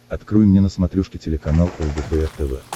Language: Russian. открой мне на смотрешке телеканал лдпр тв